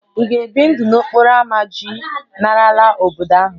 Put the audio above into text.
Ị ga-ebi ndụ n'okporo ámá iji lanarị n'obodo ahụ?